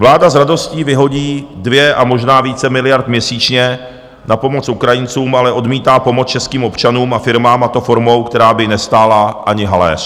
Vláda s radostí vyhodí 2 a možná více miliard měsíčně na pomoc Ukrajincům, ale odmítá pomoc českým občanům a firmám, a to formou, která by nestála ani haléř.